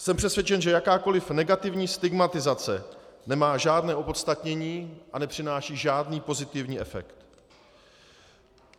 Jsem přesvědčen, že jakákoli negativní stigmatizace nemá žádné opodstatnění a nepřináší žádný pozitivní efekt.